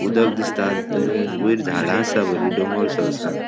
उदक दिसतात वयर झाडा असा बरी डोंगरसो असा.